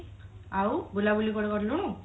ଆଉ ବୁଲାବୁଲି କୁଆଡେ କରିଲୁଣୁ